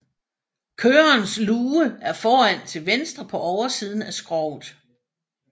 Kørerens luge er foran til venstre på oversiden af skroget